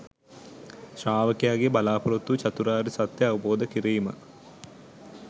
ශ්‍රාවකයාගේ බලාපොරොත්තුව චතුරාර්ය සත්‍යය අවබෝධ කිරීම